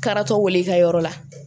Karatɔ wele ka yɔrɔ la